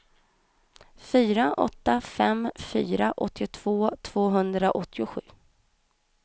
fyra åtta fem fyra åttiotvå tvåhundraåttiosju